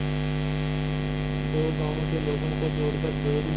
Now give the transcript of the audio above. दो गांवों के लोगों को जोड़कर डेयरी